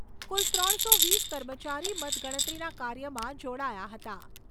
કુલ ત્રણસો વીસ કર્મચારી મતગણતરીના કાર્યમાં જોડાયા હતા.